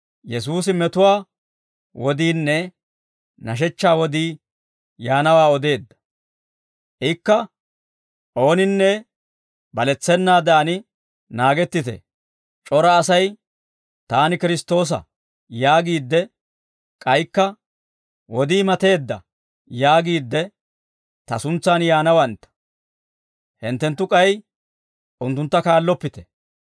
Ikka, «Ooninne baletsennaadan naagettite; c'ora asay, ‹Taani Kiristtoosa› yaagiidde k'aykka, ‹Wodii mateedda› yaagiidde ta suntsaan yaanawantta; hinttenttu k'ay unttuntta kaalloppite.